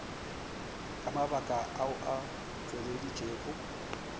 ka mabaka ao a tšweleditšwego